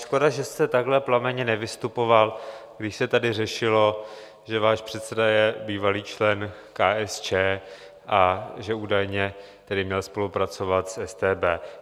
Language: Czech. Škoda že jste takhle plamenně nevystupoval, když se tady řešilo, že váš předseda je bývalý člen KSČ a že údajně tedy měl spolupracovat s StB.